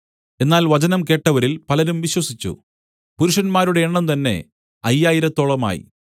എന്നാൽ വചനം കേട്ടവരിൽ പലരും വിശ്വസിച്ചു പുരുഷന്മാരുടെ എണ്ണംതന്നെ അയ്യായിരത്തോളമായി